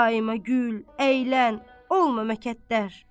Daima gül, əylən, olma məkətdər.